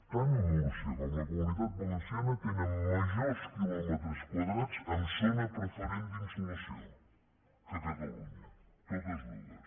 tant múrcia com la comunitat valenciana tenen majors quilòmetres quadrats en zona preferent d’insolació que catalunya totes dues